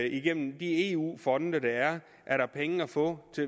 igennem de eu fonde der er er der penge at få